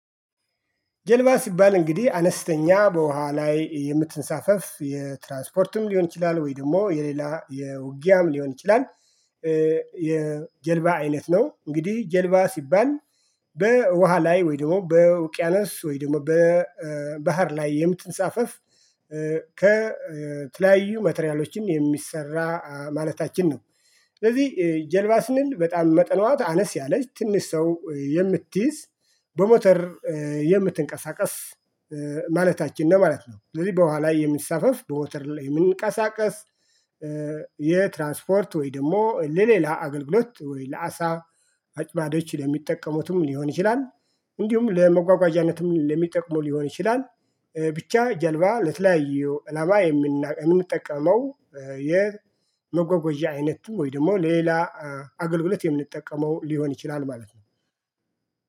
ጀልባ ሲባል እንግዲህ አነስተኛ በውሃ ላይ የምትንሳፈፍ የትራንስፖርትም ሊሆን ይችላ። ወይ ደግሞ የሌላ የውጊያም ሊሆን ይችላል። የጀልባ አይነት ነው። እንግዲህ ጀልባ ሲባል በውሃ ላይ ወይ ደግሞ በውቅያነስ ወይ ደግሞ በባህር ላይ የምትንሳፈፍ ከትላዩ መተሪያሎችን የሚሰራ ማለታችን ነው። ስለዚህ ጀልባ ስንል በጣም መጠኗ አነስ ያለች ትንሽ ሰው የምትይዝ በሞተር የምትንቀሳቀስ ማለታችን ነው። ማለት ነው። ስለዚህ በኋላ የሚሳፈፍ በወተር የምንቀሳቀስ የትራንስፖርት ወይ ደግሞ ለሌላ አገልግሎት ወይ ለአሳ አጭባዶች ለሚጠቀሙትም ሊሆን ይችላል። እንዲሁም ለመጓጓዣነትም ለሚጠቅሙ ሊሆን ይችላል። ብቻ ጀልባ ለትላያዩ እላማ የምና የምንጠቀመው የመጎጎዣ አይነቱ ወይ ደግሞ ሌላ አገልግሎት የምንጠቀመው ሊሆን ይችላል። ማለት ነው